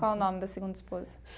Qual o nome da segunda esposa?